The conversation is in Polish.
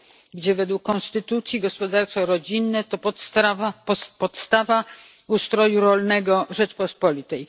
gdzie według konstytucji gospodarstwo rodzinne to podstawa ustroju rolnego Rzeczpospolitej.